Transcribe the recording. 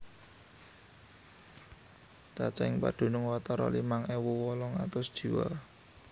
Cacahing padunung watara limang ewu wolung atus jiwa